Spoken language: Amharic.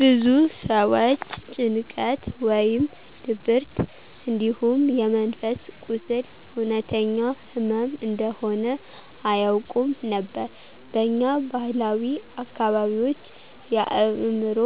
ብዙ ሰዎች ጭንቀት ወይም ድብርት እንዲሁም የመንፈስ ቁስል እውነተኛ ህመም እንደሆነ አያውቁም ነበር። በኛ ባህላዊ አካባቢዎች የአእምሮ